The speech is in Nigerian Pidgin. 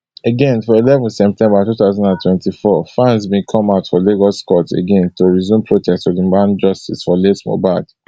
again for eleven september two thousand and twenty-four fans bin come out for lagos court again to resume protest to demand justice for late mohbad